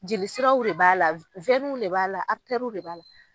Jeli siraw de b'a la w de b'a la w de b'a la.